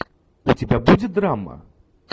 у тебя будет драма